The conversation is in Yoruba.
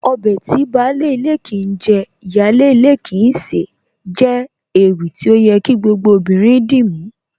Ọbẹ̀ tí baálé ilé kìí jẹ, ìyáálé ilé kìí sè é jẹ́ ewì tí ó yẹ kí gbogbo obìnrin dìmú